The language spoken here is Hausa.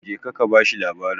jeka ka bashi labarin!